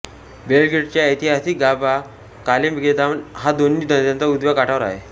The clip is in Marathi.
बेलग्रेडचा ऐतिहासिक गाभा कालेमेगदान हा दोन्ही नद्यांच्या उजव्या काठावर आहे